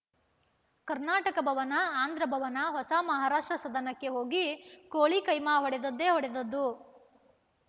ಕರ್ನಾಟಕ ಭವನ ಆಂಧ್ರಭವನ ಹೊಸ ಮಹಾರಾಷ್ಟ್ರ ಸದನಕ್ಕೆ ಹೋಗಿ ಕೋಳಿ ಕೈಮಾ ಹೊಡೆದದ್ದೇ ಹೊಡೆದದ್ದು